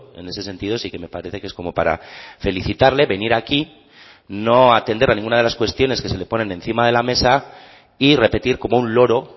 en ese sentido sí que me parece que es como para felicitarle venir aquí no atender a ninguna de las cuestiones que se le ponen encima de la mesa y repetir como un loro